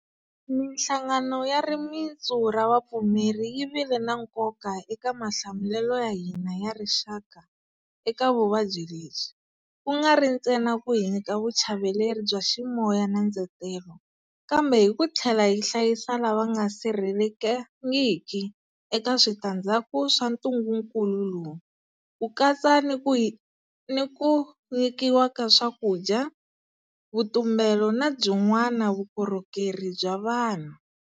Mihlangano ya rimitsu ra vupfumeri yi vile na nkoka eka mahlamulelo ya hina ya rixaka eka vuvabyi lebyi, ku nga ri ntsena ku hi nyika vuchaveleri bya ximoya na ndzetelo, kambe hi ku tlhela yi hlayisa lava nga sirhelelekangiki eka switandzhaku swa ntungukulu lowu, ku katsa ni ku hi ni ku nyikiwa ka swakudya, vutumbelo na byin'wana vukorhokeri bya vanhu.